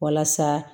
Walasa